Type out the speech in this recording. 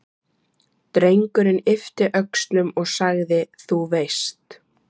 Drengurinn yppti öxlum og sagði: Þú veist.